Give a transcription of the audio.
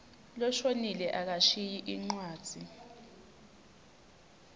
loshonile akashiyi incwadzi